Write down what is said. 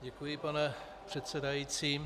Děkuji, pane předsedající.